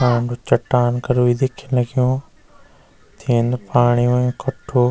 आगू चट्टान कर भी दिखींन लग्युं तीन पाणी हुयुं कठु।